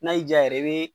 N'a y'i diya yɛrɛ i bɛ